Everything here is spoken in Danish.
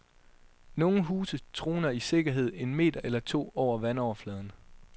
Nogle huse troner i sikkerhed en meter eller to over vandoverfladen.